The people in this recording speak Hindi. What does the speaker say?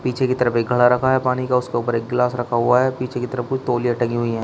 पीछे की तरफ घड़ा रखा है पानी का उसके ऊपर एक गिलास रखा हुआ है पीछे की तरफ कुछ तौलियाँ टंगी हुई हैं।